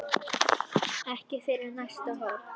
Ekki fyrir næsta horn.